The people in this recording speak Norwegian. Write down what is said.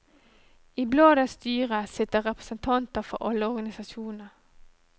I bladets styre sitter representanter for alle organisasjonene.